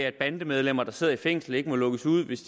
at bandemedlemmer der sidder i fængsel ikke må lukkes ud hvis